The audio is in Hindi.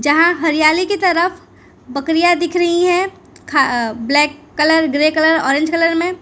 जहां हरियाली की तरफ बकरियां दिख रहीं हैं खा black colour grey colour orange colour में।